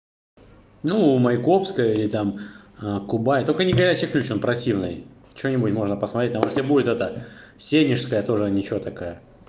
ну майкопская или там кубай только не горячий ключ он простивный что-нибудь можно посмотреть там если будет эта сенежская тоже ничего такая